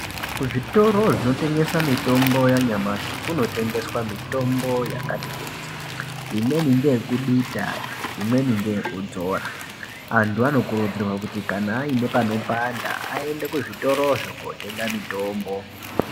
Kuzvitoro zvinotengesa mitombo yanyamashi, kunotengeswa mitombo yakati kuti. Imweni ngeyekudita, imweni ngeyekudzora. Antu anokurudzirwa kuti ,kana aine panopanda aende kuzvitorozvo ototenga mitombo.